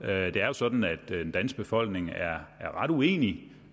er jo sådan at den danske befolkning er ret uenige